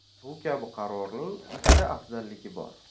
Bu kabi qarorning ikkita afzalligi bor.